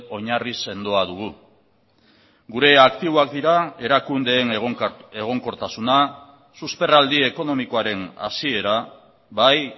oinarri sendoa dugu gure aktiboak dira erakundeen egonkortasuna susperraldi ekonomikoaren hasiera bai